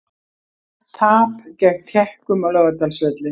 Tap gegn Tékkum á Laugardalsvelli